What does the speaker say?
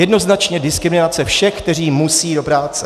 Jednoznačně diskriminace všech, kteří musí do práce.